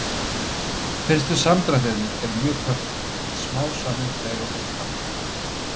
Fyrstu samdrættirnir eru mjög kröftugir en smám saman dregur úr krafti þeirra.